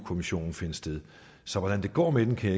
kommissionen finde sted så hvordan det går med den kan